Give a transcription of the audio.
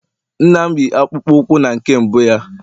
nna m yi akpụkpọ ụkwụ na nke mbụ ya